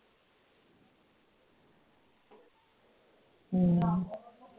ਹਮ